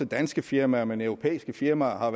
danske firmaer men også europæiske firmaer har